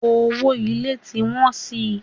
Owó ilé tí ń wọ́n si.